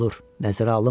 Nəzərə alınmır?